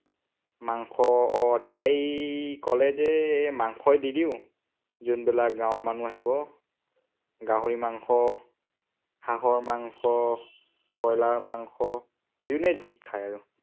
মাংস আহ তাই কলে যে মাংসই দি দিওঁ, যোনবিলাক গাঁৱৰ মানুহ আহিব। গাহৰি মাংস, হাঁহৰ মাংস, ব্ৰইলাৰ মাংস, যোনে যি খায়